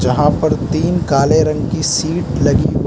यहां पर तीन काले रंग की सीट लगी हुई--